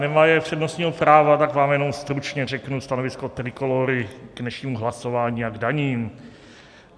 Nemaje přednostního práva, tak vám jenom stručně řeknu stanovisko Trikolóry k dnešnímu hlasování a k daním.